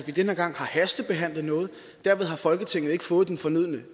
at vi den her gang har hastebehandlet noget derved har folketinget ikke fået den fornødne